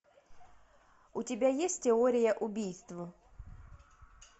у тебя есть теория убийств